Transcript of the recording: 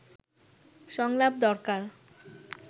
সংলাপ দরকার